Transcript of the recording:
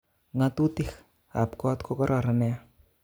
Ngo'tutik kap kot kokororon nia